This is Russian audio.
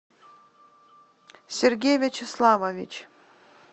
сергей вячеславович